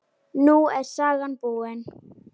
Nú er sagan búin.